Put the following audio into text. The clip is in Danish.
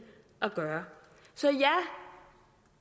at gøre så ja